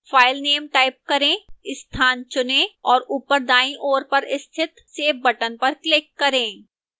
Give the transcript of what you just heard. filename type करें स्थान चुनें और ऊपर दाईं ओर पर स्थित save button पर click करें